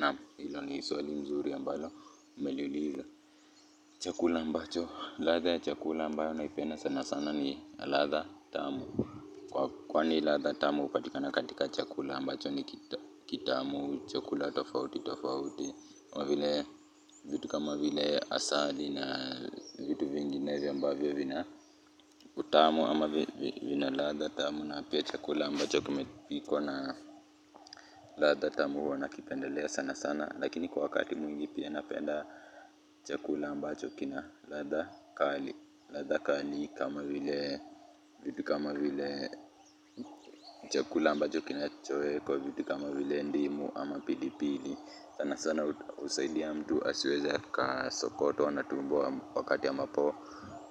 Naam ilo ni swali nzuri ambalo umeliuliza. Chakula ambacho, ladha ya chakula ambayo naipenda sana sana ni ladha tamu kwani ladha tamu hupatikana katika chakula ambacho kitamu chakula tofauti tofauti kama vile, vitu kama vile asali na vitu vinginevyo ambavyo vina utamu ama vina ladha tamu na pia chakula ambacho kimepikwa na ladha tamu huwa nakipendelea sana sana lakini kwa wakati mwingi pia napenda chakula ambacho kina ladha kali. Ladha kali kama vile chakula ambacho kinachowekwa vitu kama vile ndimu ama pilipili. Sana sana husaidia mtu asiweze akasokotwa na tumbo wakati ambapo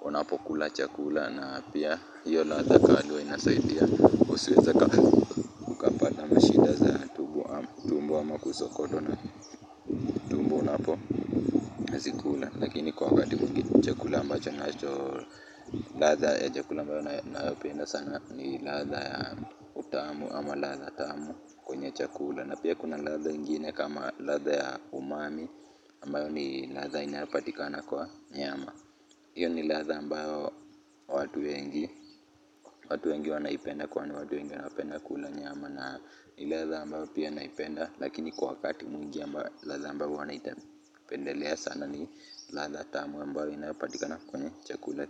unapokula chakula na pia hiyo ladha kali huwa inasaidia usiweze uka mtu asweza ka mtu asweza ka sokoto na mapo zikula. Lakini kwa wakati mwingi ni chakula ambacho ninacho, ladha ya chakula ambayo nayopenda sana ni ladha ya utamu ama ladha tamu kwenye chakula na pia kuna ladha ingine kama ladha ya umami ambayo ni ladha inayopatikana kwa nyama iyo ni ladha ambayo watu wengi, watu wengi wanaipenda kwani watu wengi wanapenda kula nyama. Na ni ladha mbayo pia naipenda lakini kwa wakati mwingi ambayo ladha ambayo huwa naipendelea sana ni ladha tamu ambayo huwa inapatikana kwenye chakula.